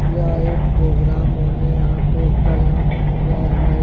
यह एक प्रोग्राम होने यहां पे होने जा रहा है।